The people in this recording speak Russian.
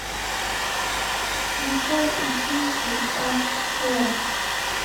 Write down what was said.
включай училки аш д